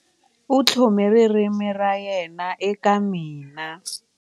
U tlhome ririmi ra yena eka mina.